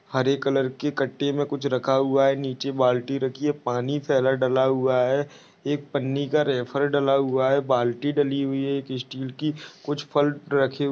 हरे colour के कटे मे कुछ रखा हुआ है। नीचे बाल्टी रखी है। पानी फेला डाला हुआ है। एक पन्नी का रेफर डाला हुआ है। बाल्टी डली हुइ है एक स्टिल की कुछ फल रखे हु--